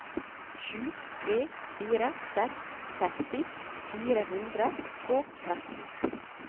sju tre fire seks seksti fire hundre og tretten